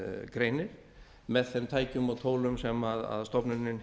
greinir með þeim tækjum og tólum sem stofnunin